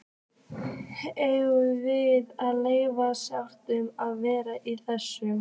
Eigum við að leyfa Stjána að vera með í þessu?